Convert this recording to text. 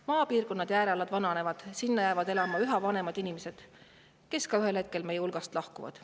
Maapiirkonnad, eriti äärealad, seal elavad üha vanemad inimesed, kes ühel hetkel meie hulgast lahkuvad.